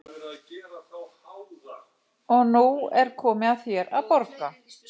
Og nú er komið að þér að borga.